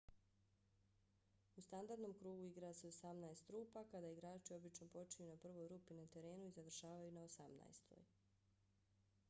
u standardnom krugu igra se osamnaest rupa kada igrači obično počinju na prvoj rupi na terenu i završavaju na osamnaestoj